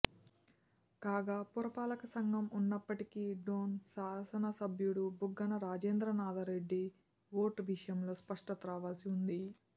కాగా పురపాలక సంఘం ఉన్నప్పటికీ డోన్ శాసనసభ్యుడు బుగ్గన రాజేంద్రనాథరెడ్డి ఓటు విషయంలో స్పష్టత రావాల్సి ఉంది